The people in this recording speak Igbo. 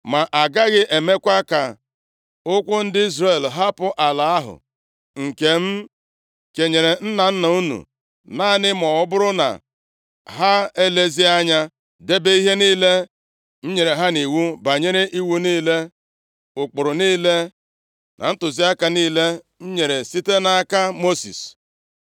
Ma agaghị emekwa ka ụkwụ ndị Izrel hapụ ala ahụ nke m kenyere nna nna unu, naanị ma ọ bụrụ na ha elezie anya debe ihe niile m nyere ha nʼiwu banyere iwu niile, ụkpụrụ niile na ntụziaka niile m nyere site nʼaka Mosis.”